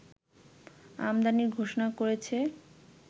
আমদানির ঘোষণা করেছে